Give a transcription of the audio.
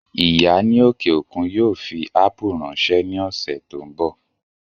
Ìyá ní òkè òkun yóò fi ápù ráńṣẹ́ ní ọ̀sẹ̀ tó ń bọ̀